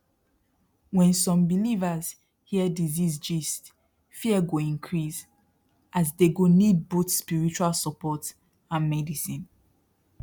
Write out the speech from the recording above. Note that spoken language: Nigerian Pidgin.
when some believers hear disease gist fear go increase as they go need both spiritual support and medicine